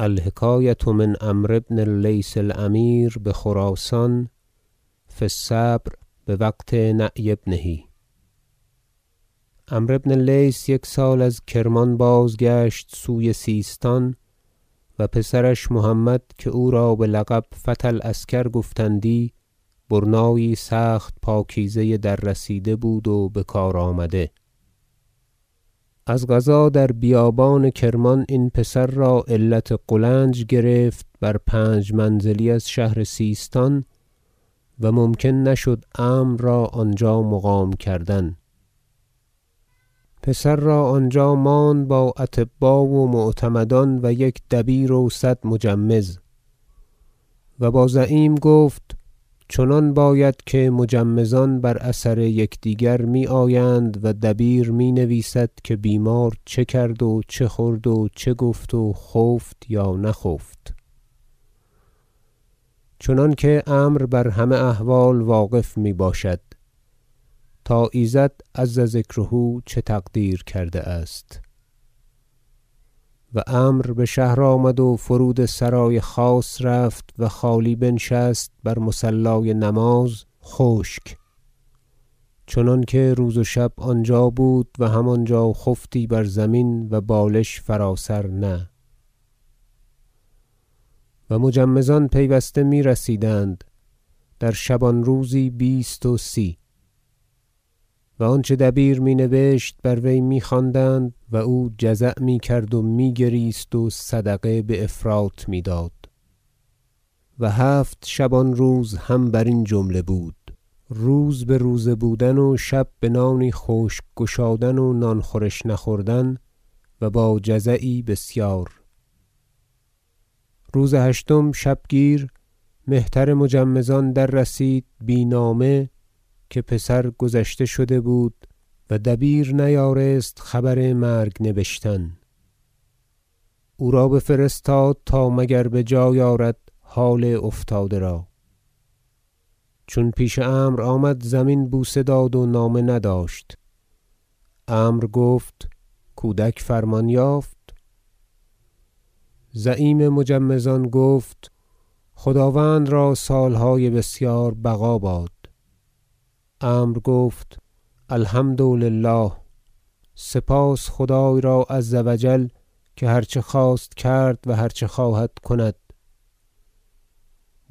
الحکایة من عمرو بن اللیث الأمیر بخراسان فی الصبر بوقت نعی ابنه عمرو بن اللیث یک سال از کرمان بازگشت سوی سیستان و پسرش محمد که او را بلقب فتی العسکر گفتندی برنایی سخت پاکیزه دررسیده بود و بکار آمده از قضا در بیابان کرمان این پسر را علت قولنج گرفت بر پنج منزلی از شهر سیستان و ممکن نشد عمرو را آنجا مقام کردن پسر را آنجا ماند با اطبا و معتمدان و یک دبیر و صد مجمز و با زعیم گفت چنان باید که مجمزان بر اثر یکدیگر میآیند و دبیر می نویسد که بیمار چه کرد و چه خورد و چه گفت و خفت یا نخفت چنانکه عمرو بر همه احوال واقف میباشد تا ایزد عز ذکره چه تقدیر کرده است و عمرو بشهر آمد و فرود سرای خاص رفت و خالی بنشست بر مصلای نماز خشک چنانکه روز و شب آنجا بود و همانجا خفتی بر زمین و بالش فرا سر نه و مجمزان پیوسته میرسیدند در شبان روزی بیست و سی و آنچه دبیر می نبشت بر وی میخواندند و او جزع میکرد و میگریست و صدقه بافراط میداد و هفت شبان روز هم برین جمله بود روز بروزه بودن و شب بنانی خشک گشادن و نانخورش نخوردن و با جزعی بسیار روز هشتم شبگیر مهتر مجمزان دررسید بی نامه که پسر گذشته شده بود و دبیر نیارست خبر مرگ نبشتن او را بفرستاد تا مگر بجای آرد حال افتاده را چون پیش عمرو آمد زمین بوسه داد و نامه نداشت عمرو گفت کودک فرمان یافت زعیم مجمزان گفت خداوند را سالهای بسیار بقا باد عمرو گفت الحمد لله سپاس خدای را عز و جل که هر چه خواست کرد و هر چه خواهد کند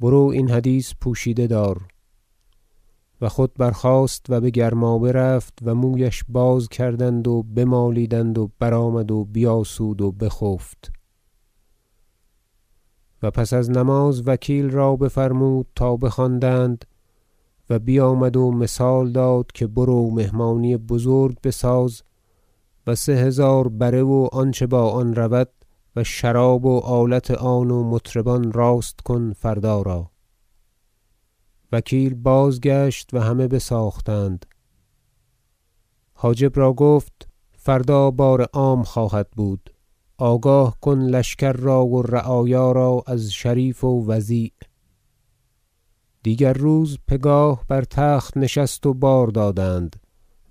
برو این حدیث پوشیده دار و خود برخاست و بگرمابه رفت و مویش باز کردند و بمالیدند و برآمد و بیاسود و بخفت و پس از نماز وکیل را بفرمود تا بخواندند و بیامد و مثال داد که برو مهمانی بزرگ بساز و سه هزار بره و آنچه با آن رود و شراب و آلت آن و مطربان راست کن فردا را وکیل بازگشت و همه بساختند حاجب را گفت فردا بارعام خواهد بود آگاه کن لشکر را و رعایا را از شریف و وضیع دیگر روز پگاه بر تخت نشست و بار دادند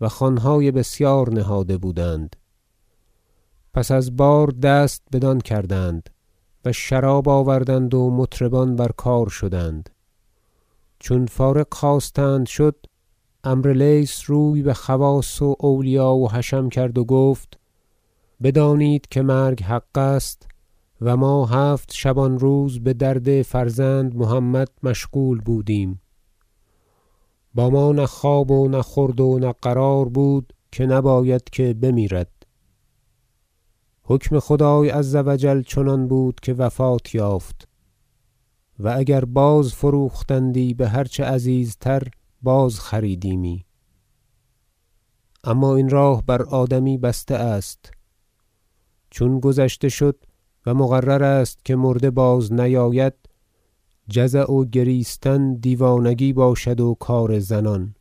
و خوانهای بسیار نهاده بودند پس از بار دست بدان کردند و شراب آوردند و مطربان برکار شدند چون فارغ خواستند شد عمرو لیث روی بخواص و اولیا و حشم کرد و گفت بدانید که مرگ حق است و ما هفت شبان روز بدرد فرزند محمد مشغول بودیم با ما نه خواب و نه خورد و نه قرار بود که نباید که بمیرد حکم خدای عز و جل چنان بود که وفات یافت و اگر بازفروختندی بهرچه عزیزتر بازخریدیمی اما این راه بر آدمی بسته است چون گذشته شد و مقرر است که مرده بازنیاید جزع و گریستن دیوانگی باشد و کار زنان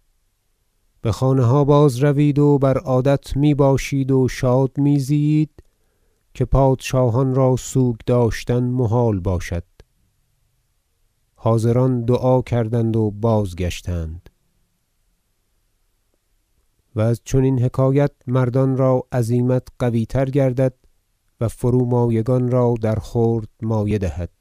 بخانه ها بازروید و بر عادت میباشید و شاد میزیید که پادشاهان را سوگ داشتن محال باشد حاضران دعا کردند و بازگشتند و از چنین حکایت مردان را عزیمت قویتر گردد و فرومایگان را درخورد مایه دهد